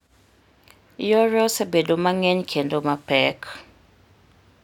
Yore osebedo mang'eny kendo mapek.